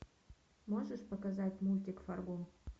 можешь показать мультик фарго